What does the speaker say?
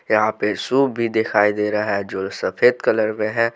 यहाँ पे सुप भी दिखाई दे रहा है जो सफेद कलर में है।